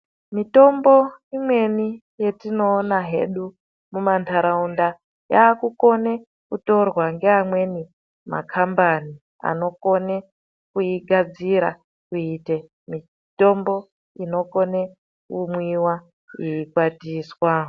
Mitombo imweni yetinoona hedu mumandaraunda yaakukonekutorwa nge amweni makambani anokone kuigadzira kuite mitombo inokone kumwiwa yeikwatiswa